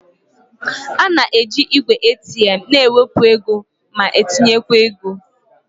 A na-eji igwe ATM na-ewepụ ego ma tinye ego.